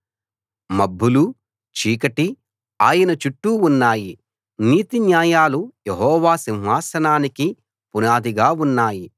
మబ్బులూ చీకటీ ఆయనచుట్టూ ఉన్నాయి నీతి న్యాయాలు యెహోవా సింహాసనానికి పునాదిగా ఉన్నాయి